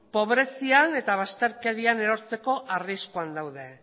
pobrezian eta bazterkerian erortzeko arriskuan daude